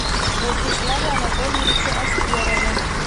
вячеславе анатольевиче аскерове